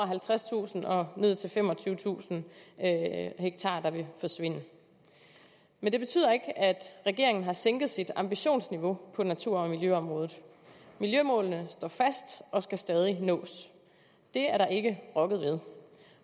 halvtredstusind og ned til femogtyvetusind ha der vil forsvinde men det betyder ikke at regeringen har sænket sit ambitionsniveau på natur og miljøområdet miljømålene står fast og skal stadig nås det er der ikke rokket ved